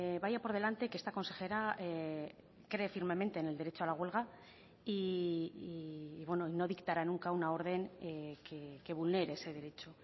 vaya por delante que esta consejera cree firmemente en el derecho a la huelga y no dictará nunca una orden que vulnere ese derecho